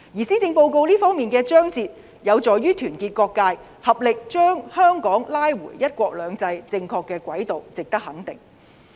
施政報告這方面的章節有助於團結各界，合力把香港拉回"一國兩制"的正確軌道，值得肯定。